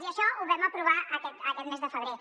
i això ho vam aprovar aquest mes de febrer